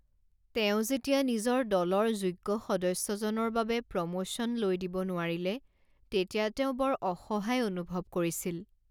তেওঁ যেতিয়া নিজৰ দলৰ যোগ্য সদস্যজনৰ বাবে প্ৰমোচন লৈ দিব নোৱাৰিলে তেতিয়া তেওঁ বৰ অসহায় অনুভৱ কৰিছিল।